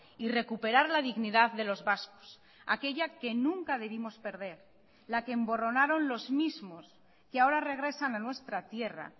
y recuperar la dignidad de los vascos aquella que nunca debimos perder la que emborronaron los mismos que ahora regresan a nuestra tierra